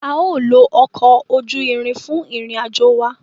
A o lo ọkọ ojú ìrin fún ìrìn-àjò wà